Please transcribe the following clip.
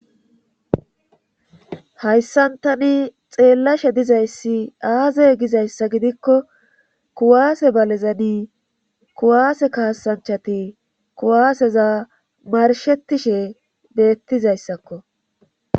hayssan tani xeellashe dizayssi aazey gizayssa gidikko kuwaase balezani kuwaase kaasanchati kuwaaseza marshetishe beettizayssakko